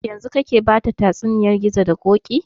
Yanzun kake bata tsatsuniyan gizo da ƙoƙi?